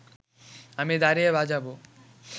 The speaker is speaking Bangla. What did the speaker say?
আমি দাঁড়িয়ে বাজাব